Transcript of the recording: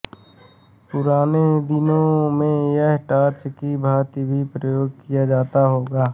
पुराने दिनों में यह टार्च की भांति भी प्रयोग किया जाता होगा